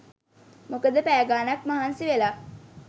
මොකද පැය ගානක් මහන්සි වෙලා